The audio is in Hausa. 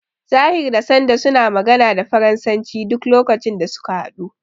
Tahir da Sanda sun magana da faransanci duk lokacin da suka haɗu.